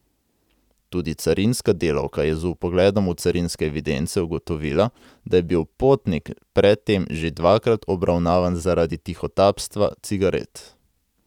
Tudi carinska delavka je z vpogledom v carinske evidence ugotovila, da je bil potnik pred tem že dvakrat obravnavan zaradi tihotapstva cigaret.